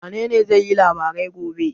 Wanene zai yi labarai gobe?